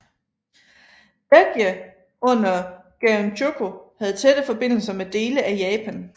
Baekje under Geunchogo havde tætte forbindelser med dele af Japan